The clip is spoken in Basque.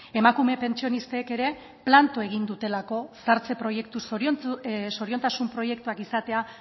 emakume pentsionistek ere planto egin dutelako zahartze proiektu zoriontasun proiektuak izatea